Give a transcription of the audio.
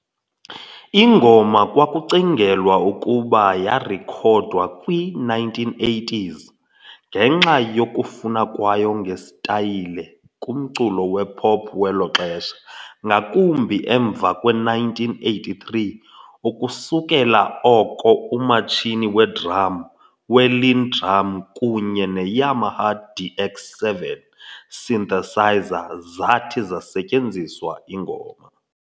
Ingoma kwakucingelwa ukuba yarekhodwa kwi-1980s ngenxa 'yokufana kwayo ngesitayile' kumculo wepop welo xesha, ngakumbi emva kwe1983, ukusukela oko umatshini wedrum weLinnDrum kunye ne-Yamaha DX7 synthesizer zathi zasetyenziswa ingoma.